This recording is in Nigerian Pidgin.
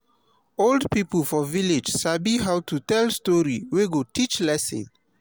old pipo for village sabi how to tell story wey go teach lesson